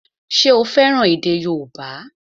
Ṣé o fẹ́ràn èdè yóòbá?